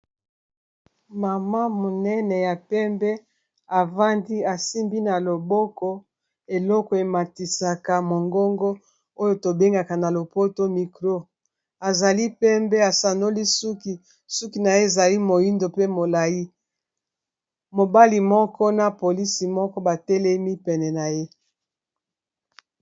mama monene ya pembe avandi asimbi na loboko eloko ematisaka mongongo oyo tobengaka na lopoto mikro azali pembe asanoli suki suki na ye ezali moindo pe molai mobali moko na polisi moko batelemi pene na ye